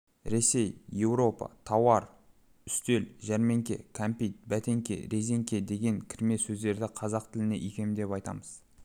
ресей еуропа тауар үстел жәрмеңке кәмпит бәтеңке резеңке деп кірме сөздерді қазақ тіліне икемдеп айтамыз